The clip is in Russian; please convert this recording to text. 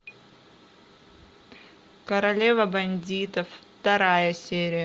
королева бандитов вторая серия